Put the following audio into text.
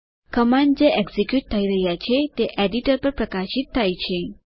command જે execute થઇ રહ્યા છે તે એડિટર પર પ્રકાશિત થયેલ છે